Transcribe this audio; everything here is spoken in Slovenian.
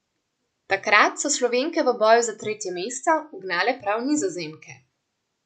Takrat so Slovenke v boju za tretje mesto ugnale prav Nizozemke.